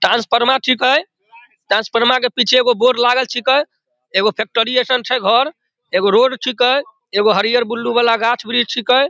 Transformer छिके transformer के पीछे एगो बोर्ड लागल छिके एगो फैक्ट्री ऐसन छै घर एगो रोड छिके एगो हरियर-बुलू वला गाछ छिके।